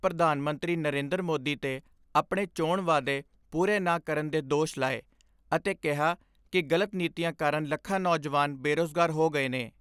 ਪ੍ਰਧਾਨ ਮੰਤਰੀ ਨਰੇਂਦਰ ਮੋਦੀ ਤੇ ਆਪਣੇ ਚੋਣ ਵਾਅਦੇ ਪੂਰੇ ਨਾ ਕਰਨ ਦੇ ਦੋਸ਼ ਲਾਏ ਅਤੇ ਕਿਹਾ ਕਿ ਗਲਤ ਨੀਤੀਆਂ ਕਾਰਨ ਲੱਖਾਂ ਨੌਜਵਾਨ ਬੇਰੁਜ਼ਗਾਰ ਹੋ ਗਏ ਨੇ।